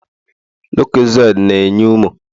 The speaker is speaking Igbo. lucozade na-enye ume